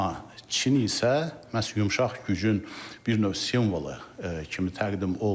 Amma Çin isə məhz yumşaq gücün bir növ simvolu kimi təqdim olunur.